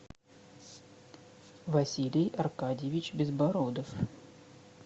василий аркадьевич безбородов